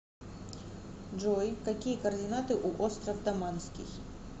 джой какие координаты у остров даманский